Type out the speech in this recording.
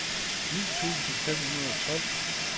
ni tusind fem hundrede og tolv